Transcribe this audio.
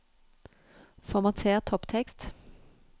Formater topptekst